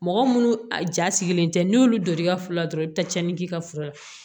Mɔgɔ munnu a ja sigilen tɛ n'i y'olu don i ka furu la dɔrɔn i bɛ taa tiɲɛni k'i ka fura la